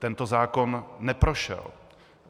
Tento zákon neprošel.